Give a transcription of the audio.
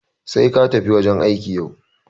Sai katafi wajan aiki yau.